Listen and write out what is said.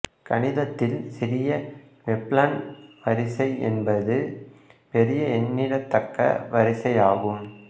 கணிதத்தில் சிறிய வெப்லன் வரிசை என்பது பொிய எண்ணிடத்தக்க வரிசையாகும்